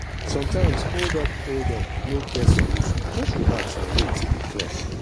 sometimes holdup holdup no get solution just relax and wait till e clear